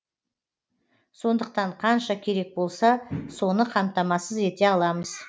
сондықтан қанша керек болса соны қамтамасыз ете аламыз